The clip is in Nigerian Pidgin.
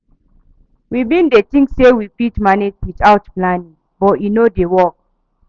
We bin dey tink sey we fit manage witout planning, but e no dey work.